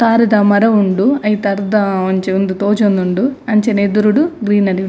ತಾರೆದ ಮರ ಉಂಡು ಐತ ಅರ್ದ ಒಂಜಿ ಉಂದು ತೋಜೊಂದುಂಡು ಅಂಚನೆ ಎದುರುಡು ಗ್ರೀನರಿ --